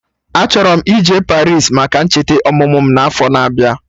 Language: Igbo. Achọrọ m ije Paris maka ncheta ọmụmụ mụ n'afọ na abịa